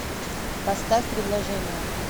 поставь предложение